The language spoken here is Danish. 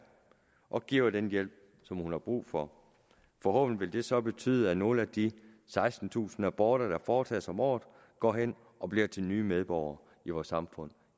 og giver den hjælp som hun har brug for forhåbentlig vil det så betyde at nogle af de sekstentusind aborter der foretages om året går hen og bliver til nye medborgere i vores samfund